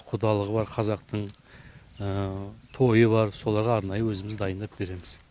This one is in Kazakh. құдалығы бар қазақтың тойы бар соларға арнайы өзіміз дайындап береміз